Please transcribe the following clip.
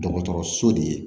Dɔgɔtɔrɔso de ye